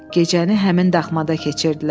Gecəni həmin daxmada keçirdilər.